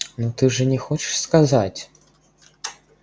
ну ты же не хочешь сказать